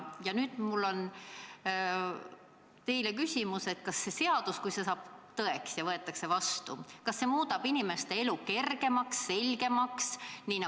Ja nüüd mul on teile küsimus: kui see seadus võetakse vastu, kas see muudab inimeste elu kergemaks ja selgemaks?